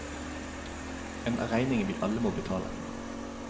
En regning vi alle må betale.